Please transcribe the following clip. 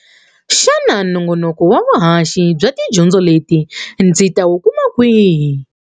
Xana nongonoko wa vuhaxi bya tidyondzo leti ndzi ta wu kuma kwihi?